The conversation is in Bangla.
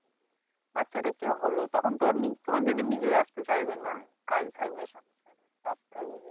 বাচ্চা-কাচ্চা হল তখন তো আর নি তোমার দিদি নিজেই আসতে চাইবে না। কাজ থাকবে কাজ থাকবে।